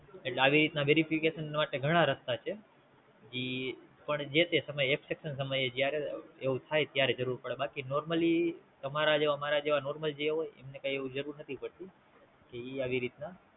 એટલે આવી રીતે Verification માટે ઘણા રસ્તા છે ઈ પણ જે તે સમયે Accept ના સમયે જયારે એવું થાય ત્યારે જરૂર પડે બાકી Normally તમરા જેવા મારા જેવા Normally જે હોય એમને કે આવી રીત ના